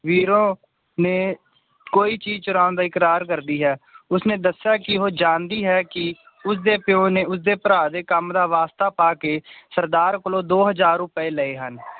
ਵੀਰੋ ਨੇ ਕੋਈ ਚੀਜ ਚੁਰਾਂ ਤੋਂ ਇਕਰਾਰ ਕਰਦੀ ਹੈ ਉਸਨੇ ਦੱਸਿਆ ਕਿ ਉਹ ਜਾਂਦੀ ਹੈ ਕਿ ਉਸ ਦੇ ਪਯੋ ਨੇ ਉਸਦੇ ਭਰਾ ਦਾ ਕੰਮ ਦਾ ਵਾਸਤਾ ਪਾ ਕੇ ਸਰਦਾਰ ਕੋਲੋਂ ਦੋ ਹਜਾਰ ਰੁਪਏ ਲਏ ਹਨ